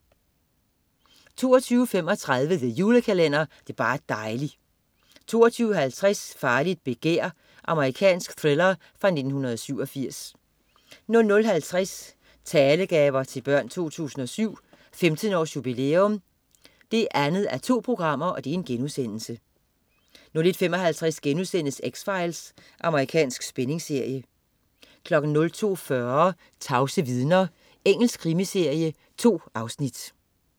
22.35 The Julekalender. Det er bar' dejli' 22.50 Farligt begær. Amerikansk thriller fra 1987 00.50 Talegaver til Børn 2007. 15 års jubilæum 2:2* 01.55 X-Files.* Amerikansk spændingsserie 02.40 Tavse vidner. Engelsk krimiserie. 2 afsnit